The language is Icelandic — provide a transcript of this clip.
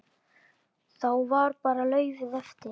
Þá var bara laufið eftir.